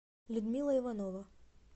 людмила иванова